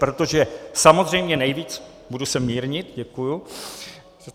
Protože samozřejmě nejvíc - budu se mírnit, děkuji.